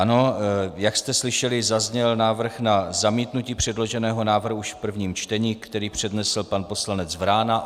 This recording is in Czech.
Ano, jak jste slyšeli, zazněl návrh na zamítnutí předloženého návrhu už v prvním čtení, který přednesl pan poslanec Vrána.